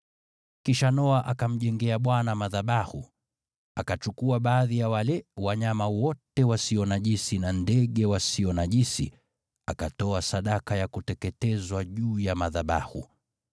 Kisha Noa akamjengea Bwana madhabahu, akachukua baadhi ya wale wanyama na ndege wote walio safi, akatoa sadaka za kuteketezwa juu ya madhabahu.